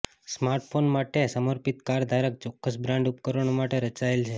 smartphone માટે સમર્પિત car ધારક ચોક્કસ બ્રાન્ડ ઉપકરણો માટે રચાયેલ છે